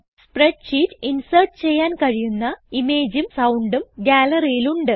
spreadsheet insert ചെയ്യാൻ കഴിയുന്ന imageഉം soundഉം Galleryൽ ഉണ്ട്